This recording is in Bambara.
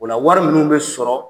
O la wari nunun bɛ sɔrɔ